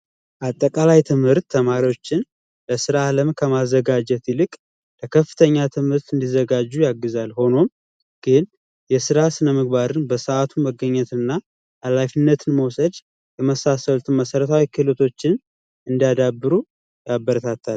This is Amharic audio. አጠቃላይ ትምህርት ተማሪዎችን ለስራ አለም ከማዘጋጀት ይልቅ ለከፍተኛ ትምህርት እንዲዘጋጁ ያግዛል። ሆኖም ግን የስራ ስነምግባርን ፣በሰዓቱ መገኘትን እና ሀላፊነትን መውሰድ የመሳሰሉ መሰረታዊ ክህሎቶችን እንዲያዳብሩ ያበረታታል።